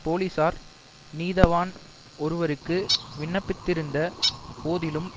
போலிசார் நீதவான் ஒருவருக்கு விண்ணப்பித்திருந்த போதிலும்